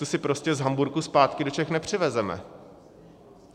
Tu si prostě z Hamburku zpátky do Čech nepřivezeme.